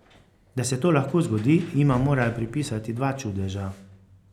Da se to lahko zgodi, jima morajo pripisati dva čudeža.